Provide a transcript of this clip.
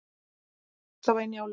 Tíðni bókstafa í Njálu.